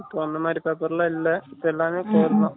இப்ப அந்தமாரி paper லாம் இல்ல எல்லாமே Core தான்